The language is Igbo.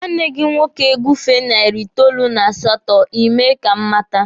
Nwanne gị nwoke gufee narị itoolu n'asato, Ị mee ka m mata.